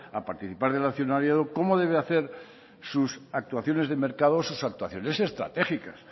a participar del accionariado cómo debe hacer sus actuaciones de mercados o sus actuaciones estratégicas